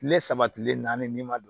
Kile saba kile naani n'i ma don